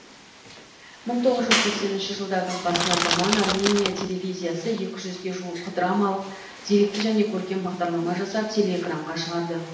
мың тоғыз жүз сексенінші жылдардың басына таман армения телевизиясы екі жүзге жуық драмалық деректі және көркем бағдарлама жасап телеэкранға шығарды